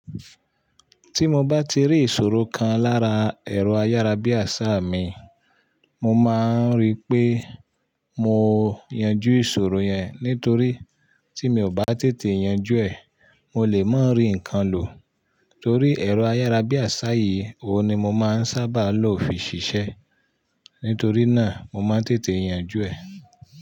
Tí mo bá ti rí ìṣòro kan lára ẹ̀rọ ayárabíàṣá mi, mo máa ń rí pé mo yanjú ìṣòro yẹn. Nítorí tí mi ò bá tètè yanjú ẹ̀, mo lè má rí nǹkan lò. Torí ẹ̀rọ ayárabíàṣá yìí ni mo máa ń sábà lo fi ṣiṣẹ́. Nítorí náà mo máa ń tètè yanjú ẹ̀.